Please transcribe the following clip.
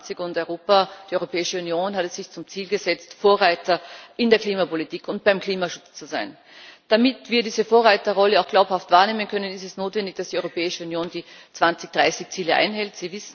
21. Die Europäische Union hat es sich zum Ziel gesetzt, Vorreiter in der Klimapolitik und beim Klimaschutz zu sein. Damit wir diese Vorreiterrolle auch glaubhaft wahrnehmen können, ist es notwendig, dass die Europäische Union die 2030 Ziele einhält.